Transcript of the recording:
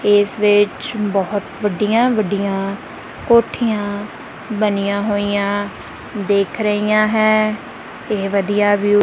ਇੱਸ ਵਿੱਚ ਬਹੁਤ ਵੱਡੀਆਂ ਵੱਡੀਆਂ ਕੋਠੀਆਂ ਬਣੀਆਂ ਹੋਈਆਂ ਦਿੱਖ ਰਹੀਆਂ ਹੈ ਇਹ ਵਧੀਆ ਵਿਊ --